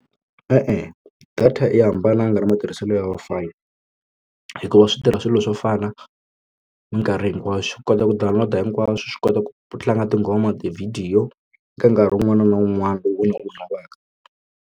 E-e, data a yi hambananga na matirhiselo ya Wi-Fi hikuva switirha swilo swo fana mikarhi hinkwayo xi kota ku download hinkwaswo swi kota ku tlanga tinghoma tivhidiyo ka nkarhi wun'wana na wun'wana lowu u wu lavaka.